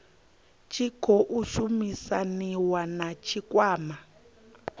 tshi khou shumisaniwa na tshikwama